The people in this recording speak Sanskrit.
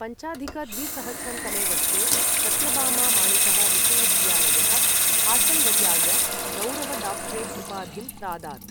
पञ्चाधिक द्विसहस्रं तमे वर्षे, सत्यबामा मानितः विश्वविद्यालयः हासन् वर्याय गौरव डॉक्टरेट् उपाधिं प्रादात्।